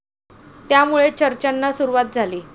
त्यामुळे चर्चाना सुरुवात झाली.